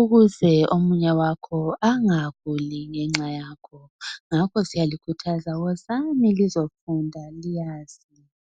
Ukuze omunye wakho engaguli ngenxa yakho. Ngakho siyalikhuthaza, Wozani lizefunda. Lazi.